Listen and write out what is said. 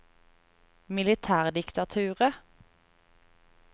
militærdiktaturet